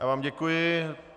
Já vám děkuji.